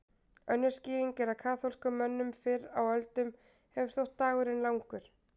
Önnur skýring er að kaþólskum mönnum fyrr á öldum hefur þótt dagurinn langur.